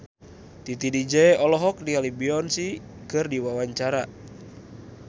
Titi DJ olohok ningali Beyonce keur diwawancara